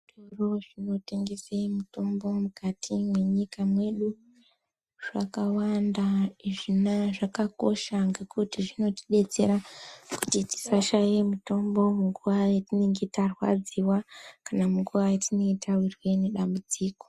Zvitoro zvinotengese mitombo mukati mwenyika mwedu zvakawanda zvinaa zvakakosha ngekuti zvinotidetsera kuti tisashaye mitombo munguwa yatinenge tarwadziwa kana munguwa yatinenge tawirwa ngedambudziko.